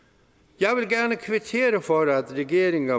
jeg vil gerne kvittere for at regeringen